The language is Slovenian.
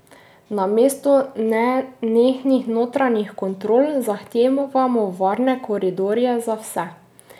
Namesto nenehnih notranjih kontrol zahtevamo varne koridorje za vse.